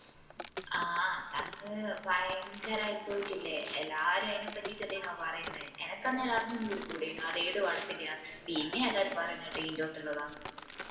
ആഹ് അതങ്ങ് ഭയങ്കരായി പോയിട്ടില്ലേ എല്ലാരും ആയിനപ്പറ്റിട്ട ല്ലെനുവാ പറേന്നെ എനിക്കന്നേരം അറിഞ്ഞും കൂടി കൂടെനും അത് ഏത് പടത്തിന്റയാന്ന് പിന്നെയാ എല്ലാരും പറേന്ന കേട്ടെ ഇതിന്റൊതില്ലതാന്ന്